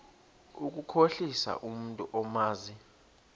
ukukhohlisa umntu omazi